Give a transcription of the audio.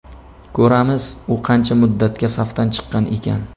Ko‘ramiz, u qancha muddatga safdan chiqqan ekan.